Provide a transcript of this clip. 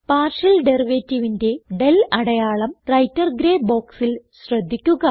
partial derivativeന്റെ del അടയാളം writer grey ബോക്സിൽ ശ്രദ്ധിക്കുക